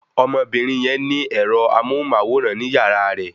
Ọmọbìnrin yẹn ní ẹ́rọ amóhùnmáwòrán ní yàrá rẹ